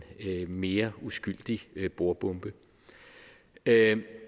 mere uskyldig bordbombe det